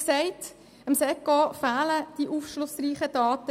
Dem SECO fehlen bislang die aufschlussreichen Daten.